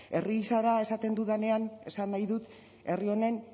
herri gisara esaten dudanean esan nahi dut herri honen